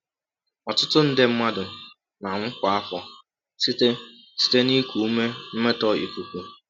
Ọtụtụ nde mmadụ na-anwụ kwa afọ site site na iku ume mmetọ ikuku.